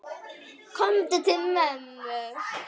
Komdu til mömmu.